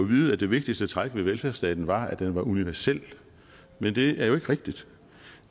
vide at det vigtigste træk ved velfærdsstaten var at den var universel men det er jo ikke rigtigt